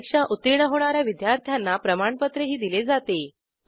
परीक्षा उत्तीर्ण होणा या विद्यार्थ्यांना प्रमाणपत्रही दिले जाते